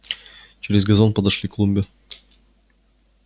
через газон подошли к клумбе